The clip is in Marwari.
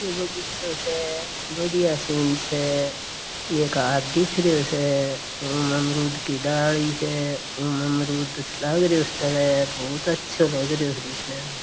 बगीचों से बढ़िया सिन स ये दिख रियो से अमरुद की डाली स उन अमरुद बहुत आछो लागरियो दिखने में।